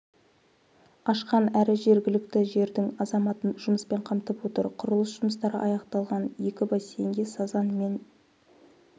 ашқан әрі жергілікті жердің азаматын жұмыспен қамтып отыр құрылыс жұмыстары аяқталған екі бассейнге сазан мен